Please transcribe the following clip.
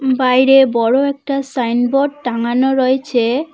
বাইরে বড়ো একটা সাইনবোর্ড টাঙানো রয়েছে।